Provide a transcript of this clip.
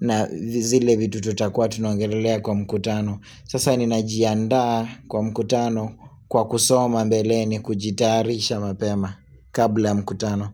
na zile vitu tutakuwa tunaongelelea kwa mkutano Sasa ninajiandaa kwa mkutano kwa kusoma mbeleni kujitarisha mapema kabla ya mkutano.